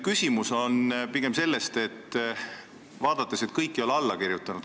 Küsimus tuleneb pigem sellest, et kõik ei ole alla kirjutanud.